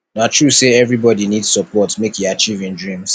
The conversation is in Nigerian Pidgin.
na true sey everybodi need support make e achieve im dreams